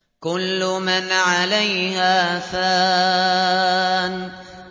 كُلُّ مَنْ عَلَيْهَا فَانٍ